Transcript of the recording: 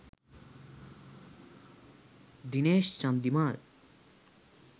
dinesh chandimal